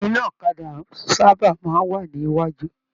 Iná ọ̀kàdà sábà máa n wà ní iwájú.